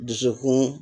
Dusukun